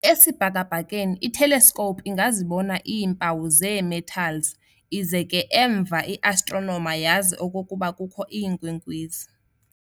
Esibhakabhakeni, i-telescope ingazibona iimpawu zee-metals ize ke emva i-astronomer yazi okokuba kukho iinkwenkwezi.